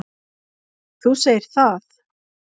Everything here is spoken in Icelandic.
Þú segir það.